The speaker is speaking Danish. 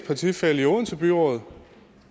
partifælle i odense byråd